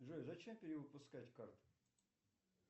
джой зачем перевыпускать карту